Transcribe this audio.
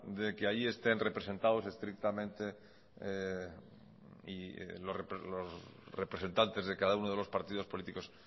de que ahí estén representados estrictamente los representantes de cada uno de los partidos políticos